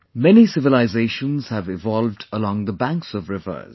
Many civilizations have evolved along the banks of rivers